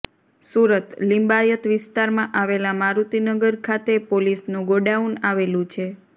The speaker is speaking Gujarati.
સુરતઃ લિંબાયત વિસ્તારમાં આવેલા મારૂતિનગર ખાતે પોલીસનું ગોડાઉન આવેલું છે